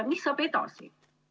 Mis saab edasi?